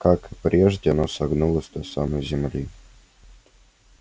как и прежде оно согнулось до самой земли